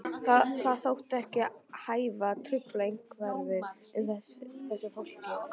Það þótti ekki hæfa að trufla umhverfið með þessu fólki.